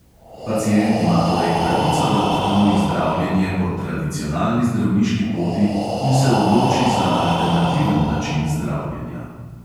Pacient ima torej pravico, da odkloni zdravljenje po tradicionalni zdravniški poti in se odloči za alternativen način zdravljenja.